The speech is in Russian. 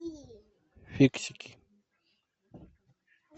фиксики